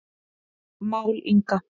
Mál Inga